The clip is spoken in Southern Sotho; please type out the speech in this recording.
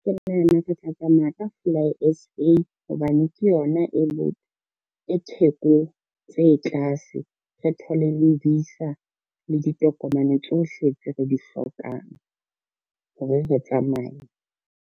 Ke nahana re tla tsamaya ka fly S_A, hobane ke yona e thekong tse tlase. Re thole le visa le ditokomane tsohle tse re di hlokang, hore re tsamaye.